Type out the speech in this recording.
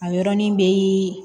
A yɔrɔnin bɛ